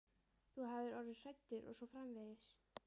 Þú hafir orðið hræddur og svo framvegis.